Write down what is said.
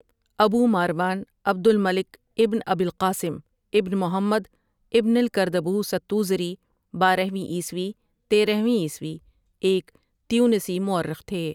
ابو ماروان عبد المالک ابن ابی القاسم ابن محمد ابن الکردبوس التوزری بارہ ویں عیسوی تیرہ ویں عیسوی ایک تیونسی مورخ تھے ۔